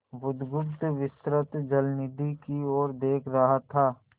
बुधगुप्त विस्तृत जलनिधि की ओर देख रहा था